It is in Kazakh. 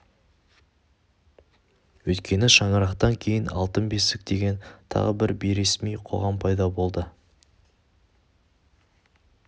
өйткені шаңырақтан кейін алтын бесік деген тағы бір бейресми қоғам пайда болды